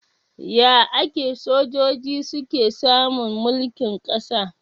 Ya ake sojoji suke samun mulkin kasa?